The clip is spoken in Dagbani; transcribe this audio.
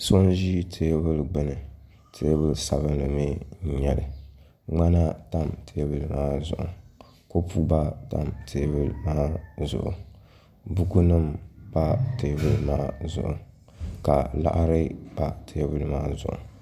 So n ʒi teebuli gbuni teebuli sabinli n nyɛli ka ŋmana tam teebuli maa zuɣu kopu gba tam teebuli maa zuɣu buku nim pa teebuli maa zuɣu ka liɣiri pa teebuli maa zuɣu